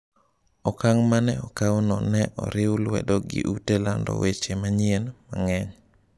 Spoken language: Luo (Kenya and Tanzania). Okang’ ma ne okawno ne oriw lwedo gi ute lando weche manyien mang'eny.